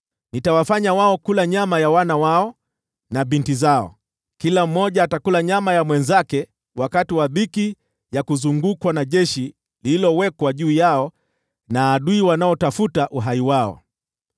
Nitawafanya wao kula nyama ya wana wao na binti zao; kila mmoja atakula nyama ya mwenzake wakati wa dhiki ya kuzungukwa na jeshi lililowekwa juu yao na adui wanaotafuta uhai wao.’